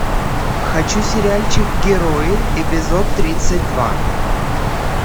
хочу сериальчик герои эпизод тридцать два